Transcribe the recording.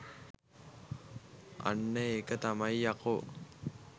අන්න ඒක තමයි යකෝ